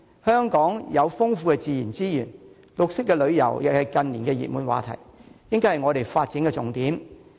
香港有豐富的自然資源，綠色旅遊亦是近年的熱門話題，應作為發展的重點。